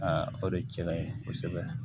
o de cɛ ka ɲi kosɛbɛ